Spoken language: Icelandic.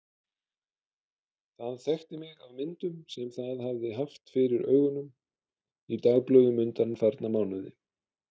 Það þekkti mig af myndum sem það hafði haft fyrir augunum í dagblöðum undanfarna mánuði.